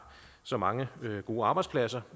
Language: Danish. så mange gode arbejdspladser